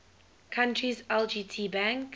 country's lgt bank